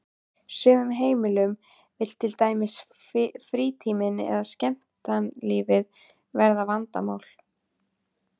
sumum heimilum vill til dæmis frítíminn eða skemmtanalífið verða vandamál.